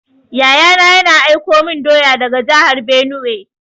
Yaya na, yana aiko min doya daga jahar benue.